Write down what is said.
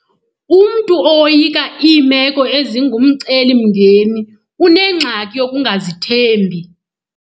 Umntu owoyika iimeko ezingumcelimngeni unengxaki yokungazithembi.